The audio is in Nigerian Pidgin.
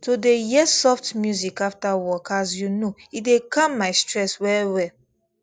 to dey hear soft music after work as you know e dey calm my stress well well